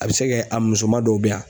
A bɛ se kɛ a musoman dɔ bɛ yan